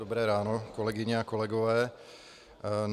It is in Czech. Dobré ráno, kolegyně a kolegové.